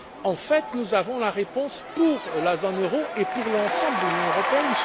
En fait, nous avons la réponse pour la zone euro et pour l'ensemble de l'Union européenne.